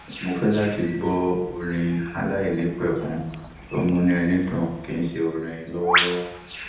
mo fẹ láti gbọ orin aláìnípẹkun tó múnú ẹni dùn kì í ṣe orin lọwọlọwọ